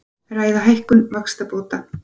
Ræða hækkun vaxtabóta